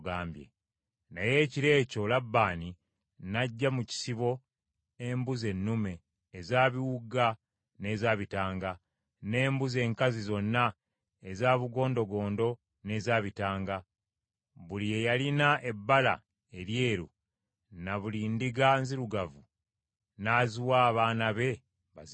Naye ekiro ekyo Labbaani n’aggya mu kisibo embuzi ennume eza biwuuga n’eza bitanga, n’embuzi enkazi zonna eza bugondogondo n’eza bitanga, buli eyalina ebbala eryeru, na buli ndiga nzirugavu n’aziwa abaana be bazirunde;